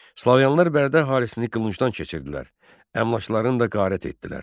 Slavyanlar Bərdə əhalisini qılıncdan keçirdilər, əmlaklarını da qarət etdilər.